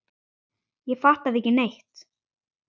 Ég fattaði ekki neitt.